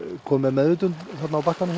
kominn með meðvitund þarna á bakkanum